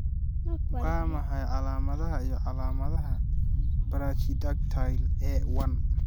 Waa maxay calaamadaha iyo calaamadaha Brachydactyly A1?